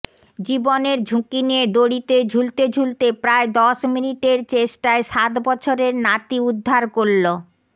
জীবনের ঝুঁকি নিয়ে দড়িতে ঝুলতে ঝুলতে প্রায় দশ মিনিটের চেষ্টায় সাত বছরের নাতি উদ্ধার করল